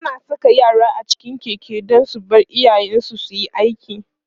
ana Saka yara a cikin Keke Dan su Bar iyayen su suyi aiki